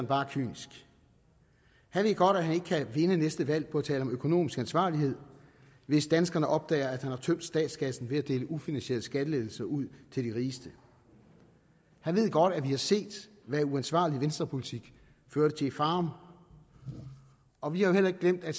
bare kynisk han ved godt at han ikke kan vinde næste valg på at tale om økonomisk ansvarlighed hvis danskerne opdager at han har tømt statskassen ved at dele ufinansierede skattelettelser ud til de rigeste han ved godt at vi har set hvad uansvarlig venstrepolitik førte til i farum og vi har jo heller ikke glemt at